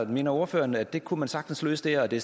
mener ordføreren at det kunne man sagtens løse der og at det